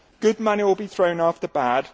Good money will be thrown after bad.